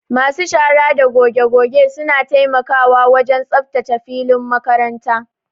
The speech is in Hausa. Masu shara da goge goge suna taimakawa wajen tsaftace filin makaranta.